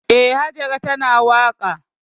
Eh, Hajara tana waƙa.